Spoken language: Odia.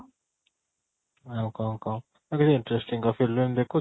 ଆଉ କ'ଣ କହ ଆଉ କିଛି interesting କ film ଦେଖୁଛୁ?